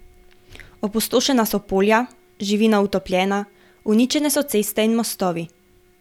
Opustošena so polja, živina utopljena, uničene so ceste in mostovi.